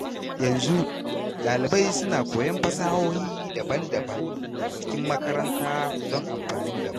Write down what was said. Yanzu, ɗalibai suna koyon fasahohi daban-daban a cikin makaranta don amfanin gaba.